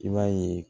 I b'a ye